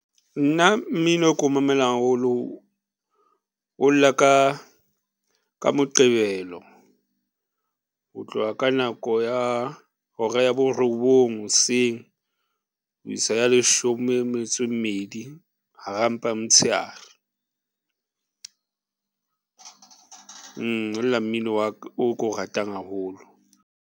Nna, mmino ko mamelang haholo. O lla ka Moqebelo ho tloha ka nako ya hora ya borobong hoseng o ho isa ya leshome metso e mmedi hara mpa m'tsheare. Ho lla mmino wa ka, oo ko ratang haholo.